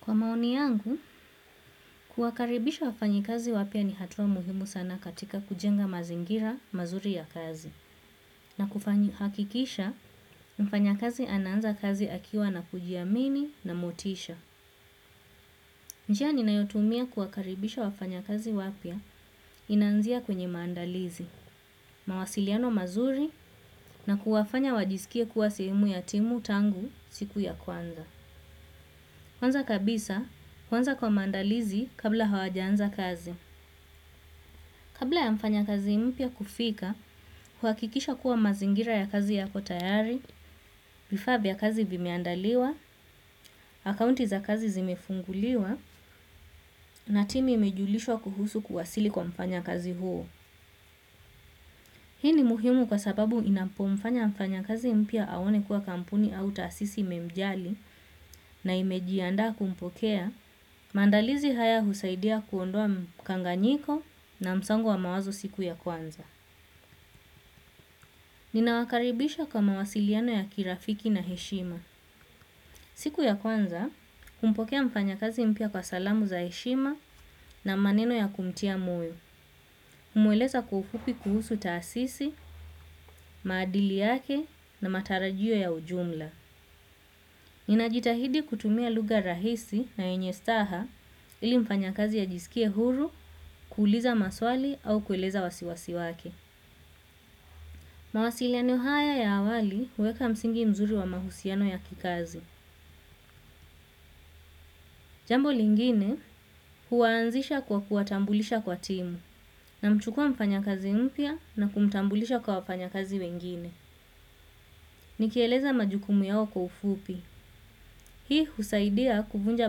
Kwa maoni yangu, kuwakaribisha wafanyi kazi wapya ni hatua muhimu sana katika kujenga mazingira mazuri ya kazi. Na kufanyi hakikisha, mfanyakazi anaanza kazi akiwa na kujiamini na motisha. Njia ninayotumia kuwakaribisha wafanyakazi wapya inaanzia kwenye maandalizi, mawasiliano mazuri na kuwafanya wajisikie kuwa sehemu ya timu tangu siku ya kwanza. Kwanza kabisa, huanza kwa maandalizi kabla hawajaanza kazi. Kabla ya mfanya kazi mpya kufika, huhakikisha kuwa mazingira ya kazi yako tayari, vifaa vya kazi vimeandaliwa, akaunti za kazi zimefunguliwa, na timu imejulishwa kuhusu kuwasili kwa mfanya kazi huo. Hii ni muhimu kwa sababu inapo mfanya mfanya kazi mpya aone kuwa kampuni au tasisi imemjali na imejianda kumpokea, mandalizi haya husaidia kuondoa mkanganyiko na msango wa mawazo siku ya kwanza. Nina wakaribisha kwa mawasiliano ya kirafiki na heshima. Siku ya kwanza, humpokea mfanya kazi mpya kwa salamu za heshima na maneno ya kumtia moyo. Humweleza kwa ufupi kuhusu tasisi, maadili yake na matarajio ya ujumla. Nina jitahidi kutumia lugha rahisi na yenye staha ili mfanya kazi ajisikie huru, kuuliza maswali au kueleza wasiwasi wake. Mawasiliano haya ya awali, huweka msingi mzuri wa mahusiano ya kikazi. Jambo lingine, huaanzisha kwa kuwatambulisha kwa timu, namchukua mfanya kazi mpya na kumtambulisha kwa wafanyi kazi wengine. Ni kieleza majukumu yao kwa ufupi. Hii husaidia kufunja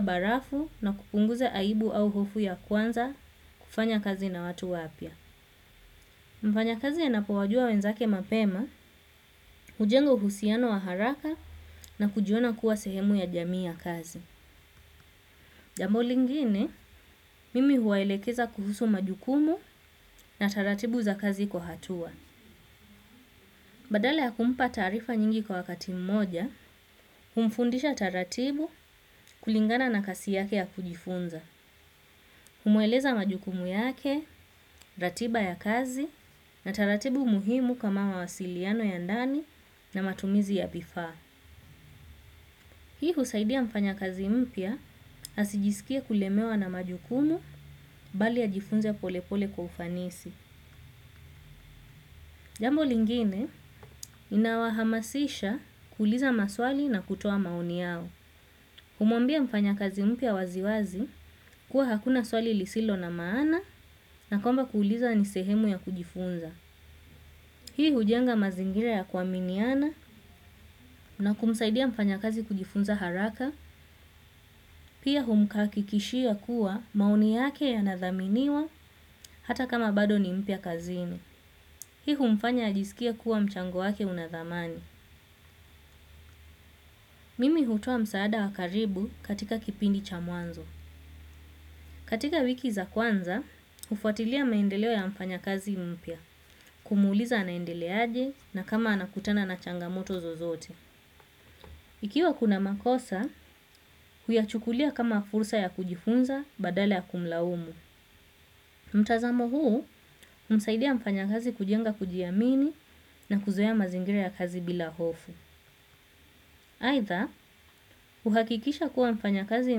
barafu na kupunguza aibu au hofu ya kwanza kufanya kazi na watu wapya. Mfanya kazi anapowajua wenzake mapema, hujengo uhusiano waharaka na kujiona kuwa sehemu ya jamii ya kazi. Jambo lingine, mimi huwaelekeza kuhusu majukumu na taratibu za kazi kwa hatua. Badale ya kumupa taarifa nyingi kwa wakati mmoja, humfundisha taratibu kulingana na kasi yake ya kujifunza. Humueleza majukumu yake, ratiba ya kazi na taratibu muhimu kama wawasiliano ya ndani na matumizi ya vifa. Hii husaidia mfanya kazi mpya asijisikie kulemewa na majukumu bali ajifunze pole pole kwa ufanisi. Jambo lingine inawahamasisha kuuliza maswali na kutoa maoni yao. Humwambia mfanya kazi mpya waziwazi kuwa hakuna swali lisilo na maana na kwamba kuuliza ni sehemu ya kujifunza. Hii hujenga mazingira ya kuaminiana na kumsaidia mfanya kazi kujifunza haraka, pia humkakikishia kuwa maoni yake yanadhaminiwa hata kama bado ni mpya kazini. Hii humfanya ajisikie kuwa mchango wake unadhamani. Mimi hutoa msaada wa karibu katika kipindi cha mwanzo. Katika wiki za kwanza, hufwatilia maendeleo ya mfanya kazi mpya, kumuuliza anaendele aje na kama anakutana na changamoto zozote. Ikiwa kuna makosa, huyachukulia kama fursa ya kujifunza badala ya kumulaumu. Mtazamo huu, humsaidia mfanya kazi kujenga kujiamini na kuzoea mazingira ya kazi bila hofu. Aitha, huhakikisha kuwa mfanya kazi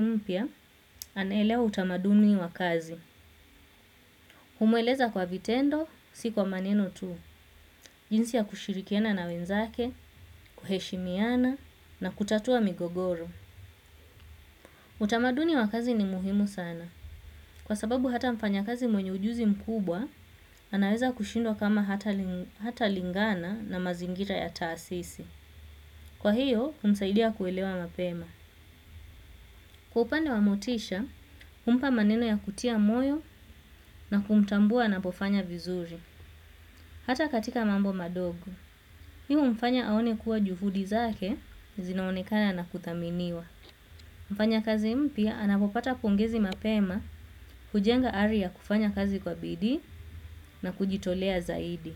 mpya, anaelewa utamaduni wa kazi. Humueleza kwa vitendo, si kwa maneno tu. Jinsi ya kushirikiana na wenzake, kuheshimiana na kutatua migogoro. Utamaduni wakazi ni muhimu sana. Kwa sababu hata mfanya kazi mwenye ujuzi mkubwa, anaweza kushindwa kama hata lingana na mazingira ya taasisi. Kwa hiyo, humsaidia kuelewa mapema. Kwa upande wa motisha, humupa maneno ya kutia moyo na kumtambua anapofanya vizuri. Hata katika mambo madogo. Hi umfanya aone kuwa juhudi zake, zinaonekana na kuthaminiwa. Mfanya kazi mpya, anapopata pongezi mapema, hujenga ari ya kufanya kazi kwa bidii na kujitolea zaidi.